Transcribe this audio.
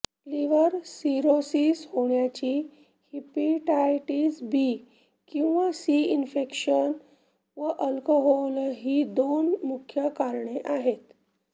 liver cirrhosis होण्याची hepatitis B किंवा C infection व अल्कोहोल ही दोन मुख्य करणे आहेत